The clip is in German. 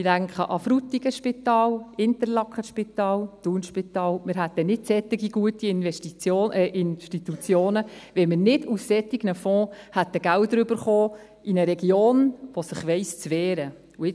Ich denke ans Spital Frutigen, ans Spital Interlaken, ans Spital Thun – wir hätten nicht solch gute Institutionen, wenn wir nicht aus solchen Fonds Gelder erhalten hätten, in eine Region, die sich zu wehren weiss.